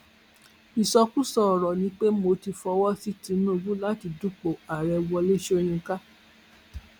ìsọkúsọ ọrọ ni pé mo ti fọwọ sí tìǹbù láti dúpọ ààrẹ wọlé sọyìnkà